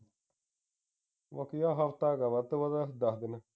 ਆਖਰੀ ਦਾ ਹਫਤਾ ਕ ਆ ਵੱਧ ਤੋਂ ਵੱਧ ਦਸ ਦਿਨ